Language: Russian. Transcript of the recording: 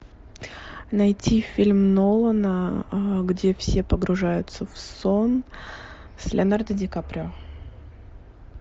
найти фильм нолана где все погружаются в сон с леонардо ди каприо